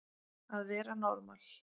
Að vera normal